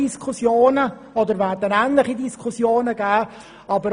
Dort werden ähnliche Diskussionen geführt.